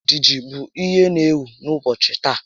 Ejiji bụ ihe n'ewu n'ụbọchị taa